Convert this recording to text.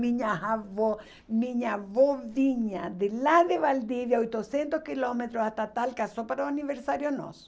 Minha avó, minha avó vinha de lá de Valdivia, oitocentos quilômetros, que é só para o aniversário nosso.